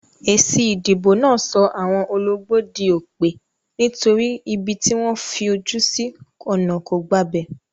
Èsì ìdìbò náà so àwon ologbó dí òpè, nítorí pé ibi tí wón fojú sí ònà kò gbabè